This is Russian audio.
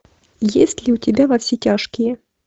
есть ли у тебя во все тяжкие